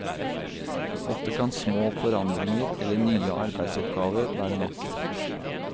Ofte kan små forandringer, eller nye arbeidsoppgaver, være nok.